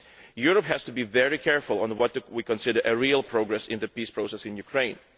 Europe has to be very careful about what we consider real progress in the peace process in Ukraine.